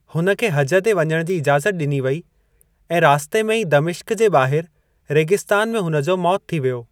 हुन खे हज ते वञणु जी इजाज़ति डि॒नी वेई ऐं रास्ते में ई दमिश्क जे ॿाहिरि रेगिस्तान में हुन जो मौति थी वियो।